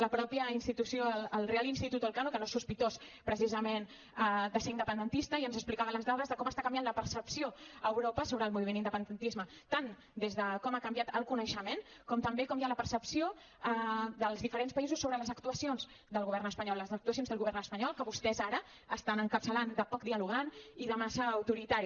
la mateixa institució el reial institut elcano que no és sospitós precisament de ser independentista ens explicava les dades de com està canviant la percepció a europa sobre el moviment independentista tant des de com ha canviat el coneixement com també com hi ha la percepció dels diferents països sobre les actuacions del govern espanyol les actuacions del govern espanyol que vostès ara estan encapçalant de poc dialogant i de massa autoritari